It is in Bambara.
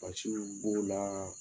Basiw b'o la